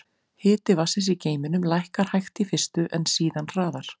Hiti vatnsins í geyminum lækkar hægt í fyrstu, en síðan hraðar.